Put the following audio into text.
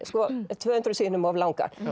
tvö hundruð síðum of langar